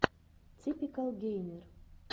типикал геймер